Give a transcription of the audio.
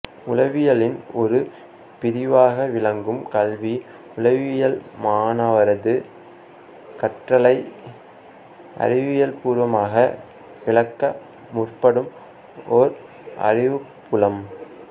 உளவியலின் ஒரு பிரிவாக விளங்கும் கல்வி உளவியல் மாணவரது கற்றலை அறிவியல்பூர்வமாக விளக்க முற்படும் ஓர் அறிவுப்புலம்